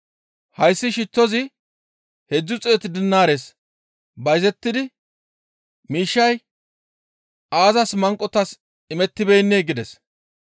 «Hayssi shittozi heedzdzu xeetu dinaares bayzettidi miishshay aazas manqotas imettibeennee?» gides.